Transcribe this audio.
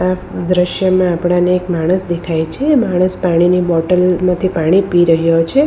દ્રશ્યમાં આપડાને એક માણસ દેખાય છે માણસ પાણીની બોટલ માંથી પાણી પી રહ્યો છે.